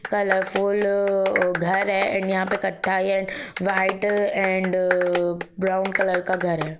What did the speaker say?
Colourful अ घर हैँ यहा पे क़त्थाई and white and uh brown colour का घर हैँ ।